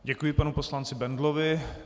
Děkuji panu poslanci Bendlovi.